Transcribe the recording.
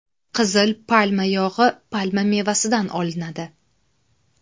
Qizil palma yog‘i palma mevasidan olinadi.